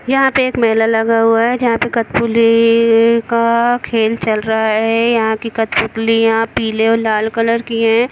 यहाँ पे एक मेला लगा हुआ है जहाँ पे कटपुली का खेल चल रहा है यहाँ की कत्पुत्लियाँ पीले और लाल कलर की है।